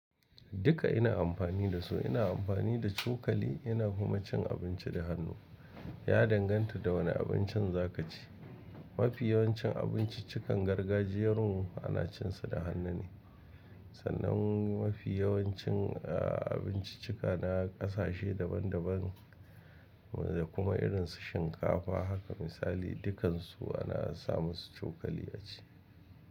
Duka ina amfani da su, ina amfani da cokali, ina kuma cin abinci da hannu. Ya danganta da wane abincin za ka ci. Mafi yawancin abinciccikan gargajiyar mu anacinsu da hannu ne, sannan mafi yawancin abinciccika na ƙasashe daban daban da kuma irin su shinkafa haka misali, dukansu ana samu su cokali a ci.